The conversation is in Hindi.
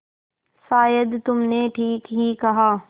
शायद तुमने ठीक ही कहा